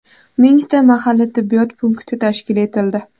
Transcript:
mingta mahalla tibbiyot punkti tashkil etildi.